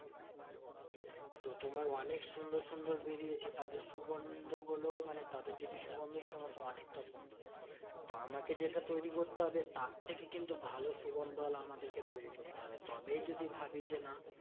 তো তোমার অনেক সুন্দর সুন্দর বেরিয়েছে। তাদের সুগন্ধ গুলো মানে তাদের যদি সুগন্ধ সোকো তোনেকটা সুন্দর। তো আমাকে যেটা তৈরী করতে হবে তার থেকে কিন্তু ভালো সুগন্ধ ওয়ালা আমাদেরকে তৈরী করতে হবে। তবেই যদি ভাবি যে না